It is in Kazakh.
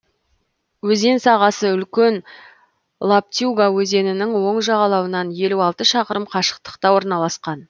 өзен сағасы үлкен лоптюга өзенінің оң жағалауынан елу алты шақырым қашықтықта орналасқан